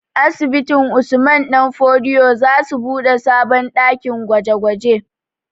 Asibitin Usman ɗan fodio za su buɗe sabon ɗakin gwaje gwaje